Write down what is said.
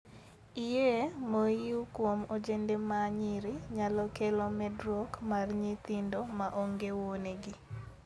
Iyee mohiu kuom ojende ma nyiri nyalo kelo medruok mar nyithindo ma onge wuonegi.